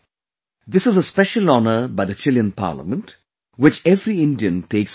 This is a special honour by the Chilean Parliament, which every Indian takes pride in